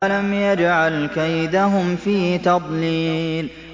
أَلَمْ يَجْعَلْ كَيْدَهُمْ فِي تَضْلِيلٍ